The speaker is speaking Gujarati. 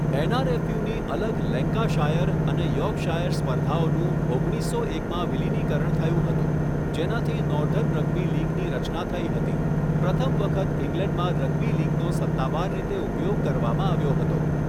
એનઆરએફયુની અલગ લેન્કાશાયર અને યોર્કશાયર સ્પર્ધાઓનું ઓગણીસો એકમાં વિલિનીકરણ થયું હતું, જેનાથી નોર્ધન રગ્બી લીગની રચના થઈ હતી, પ્રથમ વખત ઇંગ્લેન્ડમાં રગ્બી લીગનો સત્તાવાર રીતે ઉપયોગ કરવામાં આવ્યો હતો.